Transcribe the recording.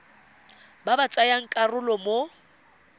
ba ba tsayang karolo mo